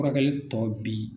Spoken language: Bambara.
Furakɛli tɔ bi .